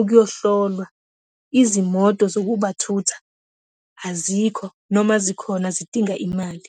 ukuyohlolwa. Izimoto zokubathutha azikho, noma zikhona, zidinga imali.